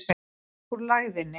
Upp úr lægðinni